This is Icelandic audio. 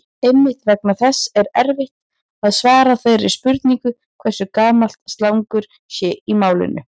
Einmitt vegna þess er erfitt að svara þeirri spurningu hversu gamalt slangur sé í málinu.